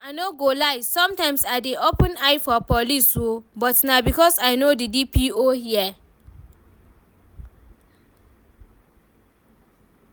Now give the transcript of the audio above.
I no go lie, sometimes I dey open eye for police oo, but na because I know the DPO here